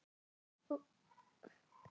Hvarf Óli svo á braut.